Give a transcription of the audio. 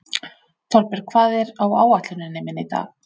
Þorbjörg, hvað er á áætluninni minni í dag?